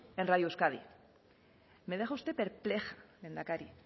en radio euskadi me deja usted perpleja lehendakari